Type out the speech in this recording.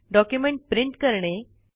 document print करणे